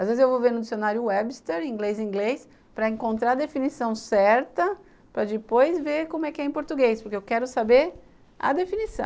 Às vezes eu vou ver no dicionário Webster, inglês-inglês, para encontrar a definição certa, para depois ver como é que é em português, porque eu quero saber a definição.